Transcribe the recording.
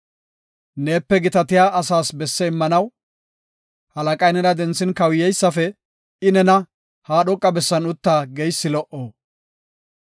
Neepe gitatiya asas besse immanaw halaqay nena denthin, kawuyeysafe, I nena, “Ha dhoqa bessan utta” geysi lo77o.